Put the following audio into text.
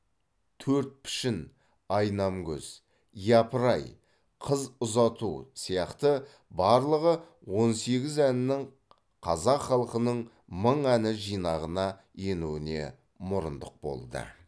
төрт пішін айнамкөз япырай қыз ұзату сияқты барлығы он сегіз әнінің қазақ халқының мың әні жинағына енуіне мұрындық болды